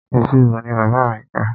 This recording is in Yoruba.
Ìṣirò ni bàbá mi kà.